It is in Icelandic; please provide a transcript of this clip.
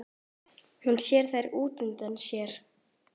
Hún sér þær útundan sér.